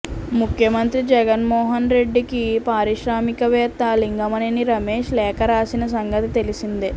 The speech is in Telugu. ముఖ్యమంత్రి జగన్మోహన్ రెడ్డికి పారిశ్రామిక వేత్త లింగమనేని రమేష్ లేఖ రాసిన సంగతి తెలిసిందే